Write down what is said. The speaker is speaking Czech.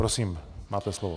Prosím, máte slovo.